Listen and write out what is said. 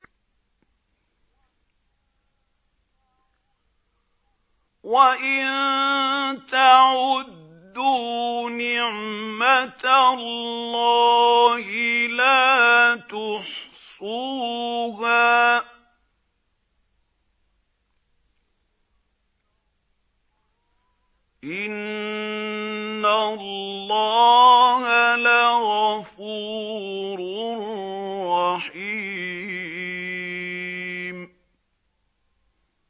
وَإِن تَعُدُّوا نِعْمَةَ اللَّهِ لَا تُحْصُوهَا ۗ إِنَّ اللَّهَ لَغَفُورٌ رَّحِيمٌ